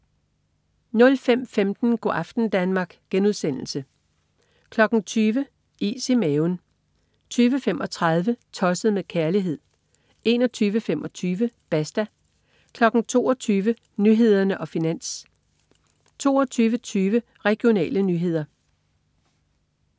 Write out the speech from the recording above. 05.15 Go' aften Danmark* 20.00 Is i maven 20.35 Tosset med kærlighed 21.25 Basta 22.00 Nyhederne og Finans 22.20 Regionale nyheder